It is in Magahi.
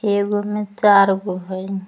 एगो मे चार गो हइ।